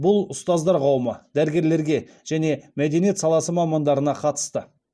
бұл ұстаздар қауымына дәрігерлерге және мәдениет саласы мамандарына қатысты